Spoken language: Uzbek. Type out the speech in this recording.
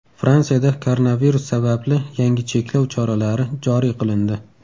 Fransiyada koronavirus sababli yangi cheklov choralari joriy qilindi.